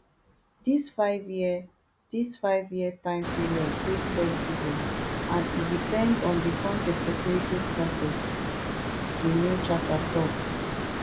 dis fiveyear dis fiveyear time period dey flexible and e depend on di kontri security status di new charter tok